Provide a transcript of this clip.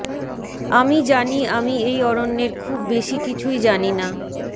আমি জানি আমি এই অরণ্যের খুব বেশি কিছুই জানি না